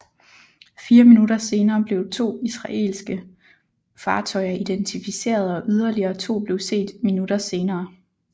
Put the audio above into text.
Fire minutter senere blev to israelske fartøjer identificeret og yderligere to blev set minutter senere